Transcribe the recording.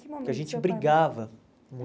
Porque a gente brigava muito.